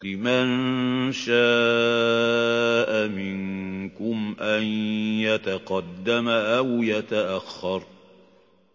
لِمَن شَاءَ مِنكُمْ أَن يَتَقَدَّمَ أَوْ يَتَأَخَّرَ